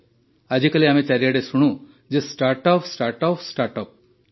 ଆଜିକାଲି ଆମେ ଚାରିଆଡ଼େ ଶୁଣୁ ଯେ ଷ୍ଟାଟ୍ର୍ଅପ୍ ଷ୍ଟାର୍ଟଅପ୍ ଷ୍ଟାର୍ଟଅପ୍